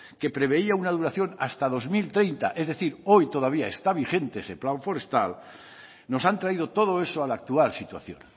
que preveía de una duración hasta dos mil treinta es decir hoy todavía está vigente ese plan forestal nos han traído todo eso a la actual situación